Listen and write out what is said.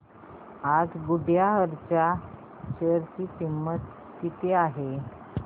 आज गुडइयर च्या शेअर ची किंमत किती आहे